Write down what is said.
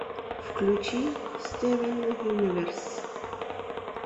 включи стивен юниверс